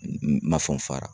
N n ma fɔ n fara.